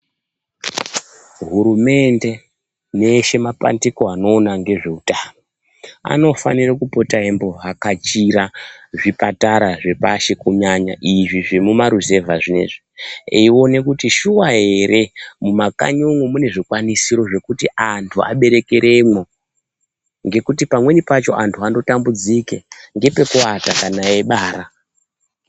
Hurumende neeshe mapandiko anoona ngezveutano anofanire kupota eyimbo vhakatshira zvipatara zvepashi kunyanya zvemmuma ruzevha zviya zviya eyi wone kuti shuwa here mumakanyi umwu mune zvikwanisiro zvekuti andu aberekeremo ngekuti pamweni pacho andu anotambudzike ngepekuwata kana eyibara.